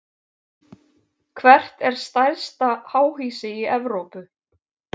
Hvert er stærsta háhýsi í Evrópu?